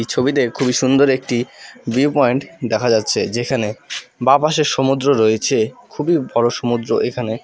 ছবিতে খুবই সুন্দর একটি ভিউপয়েন্ট দেখা যাচ্ছে যেখানে বাঁপাশে সমুদ্র রয়েছে খুবই বড়ো সমুদ্র এখানে।